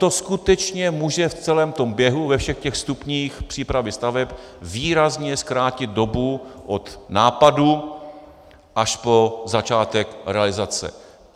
To skutečně může v celém tom běhu, ve všech těch stupních přípravy staveb, výrazně zkrátit dobu od nápadu až po začátek realizace.